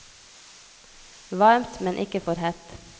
Varmt, men ikke for hett.